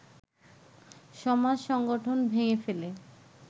সমাজ-সংগঠন ভেঙ্গে ফেলে